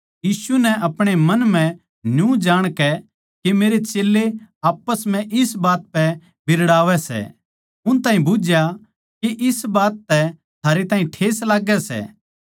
यीशु नै अपणे मन म्ह न्यू जाणकै के मेरे चेल्लें आप्पस म्ह इस बात पै बिरड़ावै सै उन ताहीं बुझ्झया के इस बात तै थारै ताहीं ठेस लाग्गै सै